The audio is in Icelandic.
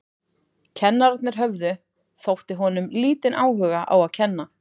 Kennararnir höfðu, þótti honum, lítinn áhuga á að kenna.